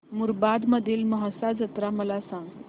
मुरबाड मधील म्हसा जत्रा मला सांग